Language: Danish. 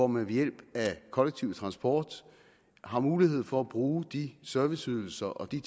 man ved hjælp af kollektiv transport har mulighed for at bruge de serviceydelser og de